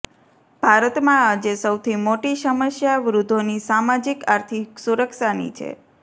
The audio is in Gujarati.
ભારતમાં આજે સૌથી મોટી સમસ્યા વૃદ્ધોની સામાજિક આર્થિક સુરક્ષાની છે